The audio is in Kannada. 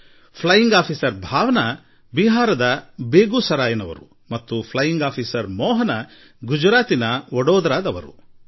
ಫ್ಲೈಯಿಂಗ್ ಆಫೀಸರ್ ಭಾವನಾ ಬಿಹಾರದ ಬೆಗೂಸರಾಯಿನವರು ಮತ್ತು ಫ್ಲೈಯಿಂಗ್ ಆಫೀಸರ್ ಮೋಹನಾ ಗುಜರಾತಿನ ವಡೋದರಾದವರು